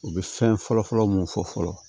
U bɛ fɛn fɔlɔ-fɔlɔ mun fɔ fɔlɔ